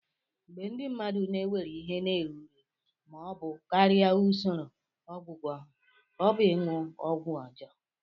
Mgbe ndị mmadụ na-ewere ihe na-erughị ma ọ bụ karịa usoro ọgwụgwọ ha, ọ bụ ịṅụ ọgwụ ọjọọ.